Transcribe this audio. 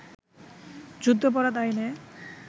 যুদ্ধাপরাধ আইনে